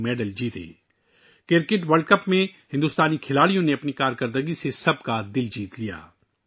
ہندوستانی کھلاڑیوں نے کرکٹ ورلڈ کپ میں اپنی کارکردگی سے سب کا دل جیت لیا